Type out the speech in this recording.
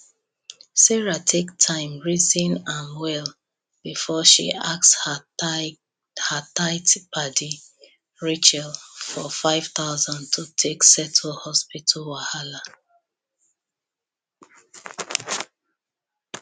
sarah take time reason am well before she ask her tight padi rachel for 5000 to take settle hospital wahala